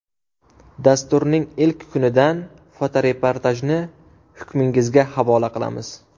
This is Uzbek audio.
Dasturning ilk kunidan fotoreportajni hukmingizga havola qilamiz.